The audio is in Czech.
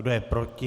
Kdo je proti?